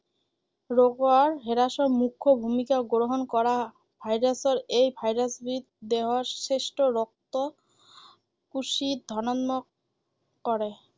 ৰোগৰ হ্ৰাসত মুখ্য ভূমিকা গ্ৰহণ কৰা virus ৰ এই virus বিধ দেহৰ শ্ৰেষ্ঠ ৰক্ত কোষী ধনাত্মক কৰে।